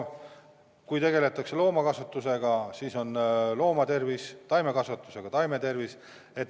Kui tegeletakse loomakasvatusega, siis on tähtis loomade tervis, kui taimekasvatusega, siis taimede tervis.